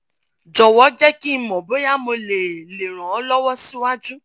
jọwọ jẹ ki n mọ boya mo le le ran ọ lọwọ siwaju